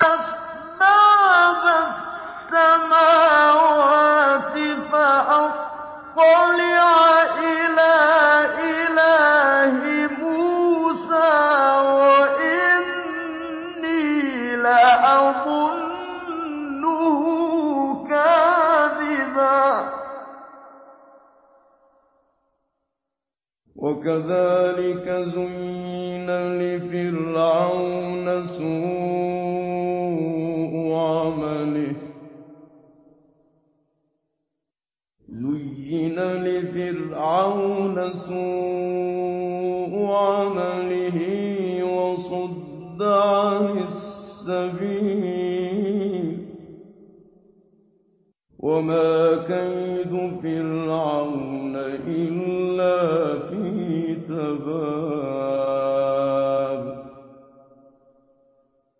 أَسْبَابَ السَّمَاوَاتِ فَأَطَّلِعَ إِلَىٰ إِلَٰهِ مُوسَىٰ وَإِنِّي لَأَظُنُّهُ كَاذِبًا ۚ وَكَذَٰلِكَ زُيِّنَ لِفِرْعَوْنَ سُوءُ عَمَلِهِ وَصُدَّ عَنِ السَّبِيلِ ۚ وَمَا كَيْدُ فِرْعَوْنَ إِلَّا فِي تَبَابٍ